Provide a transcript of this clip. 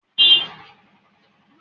Ọ̀gá kúnlé ni ó ń mú ojú tó ilé ìko ẹrú sí